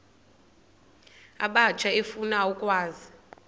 abatsha efuna ukwazi